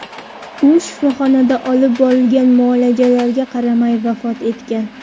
U shifoxonada olib borilgan muolajalarga qaramay vafot etgan.